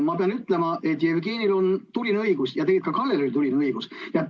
Taas pean ma ütlema, et Jevgenil on tuline õigus ja tegelikult ka Kallel on tuline õigus.